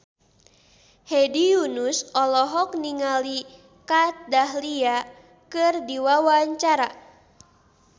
Hedi Yunus olohok ningali Kat Dahlia keur diwawancara